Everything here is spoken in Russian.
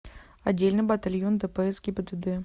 отдельный батальон дпс гибдд